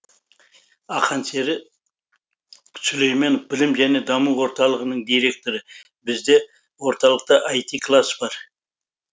ақансері сүлейменов білім және даму орталығының директоры бізде орталықта іт класс бар